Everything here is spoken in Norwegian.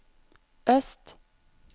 øst